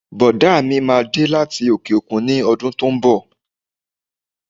Bọ̀dá mi máa dé láti òkè-òkun ní ọdún tó ń bọ̀